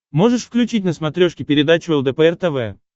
можешь включить на смотрешке передачу лдпр тв